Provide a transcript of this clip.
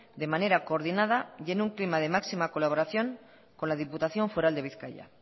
de manera coordinada y en un clima de máxima colaboración con la diputación foral de bizkaia